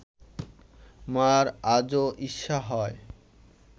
মা’র আজও ঈর্ষা হয়